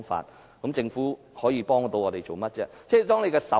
試問政府可以替我們做些甚麼呢？